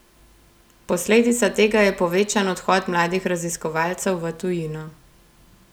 Posledica tega je povečan odhod mladih raziskovalcev v tujino.